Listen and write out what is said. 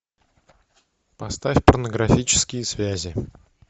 поставь порнографические связи